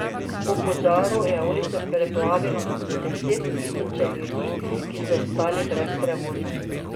Po požaru je ulice preplavilo na deset tisoče ljudi, ki so ostali brez prevoza.